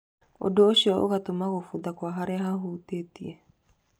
Ũndũ ũcio ũgatũma kũbutha kwa harĩa hahutĩtie.